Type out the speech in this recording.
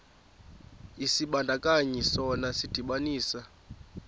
isibandakanyi sona sidibanisa